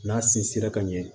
N'a sinsinra ka ɲɛ